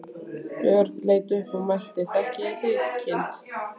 Björn leit upp og mælti: Þekki ég þig, kindin?